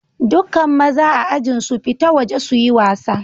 Dukan mazan a'ajin su fita waje su yi wasa.